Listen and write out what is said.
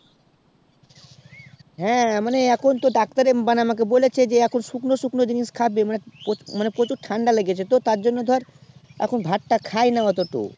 হ্যাঁ মানে এখন তো doctor এ মানে আমাকে বলেছে যে এখন শুকনো শুকনো জিনিস খাবি মানে পুচুর ঠান্ডা লেগেছে তো তাঁর জন্য ধর এখন ভাত টা খাই না এওতো